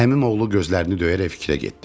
Əmim oğlu gözlərini döyərək fikrə getdi.